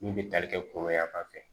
Min bɛ tali kɛ koro yan fan fɛ